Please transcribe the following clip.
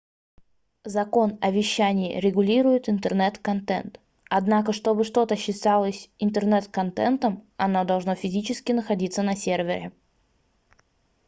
закон о вещание регулирует интернет-контент однако что бы что-то считалось интернет-контентом оно должно физически находится на сервере